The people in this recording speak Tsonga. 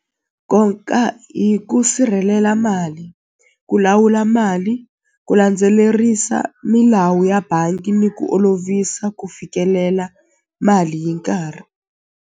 hi ku sirhelela mali ku lawula mali ku landzelerisa milawu ya bangi ni ku olovisa ku fikelela mali hi nkarhi.